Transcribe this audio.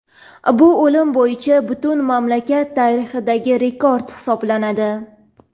Bu o‘lim bo‘yicha butun mamlakat tarixidagi rekord hisoblanadi.